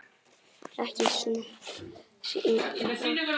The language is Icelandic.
Ekki séns.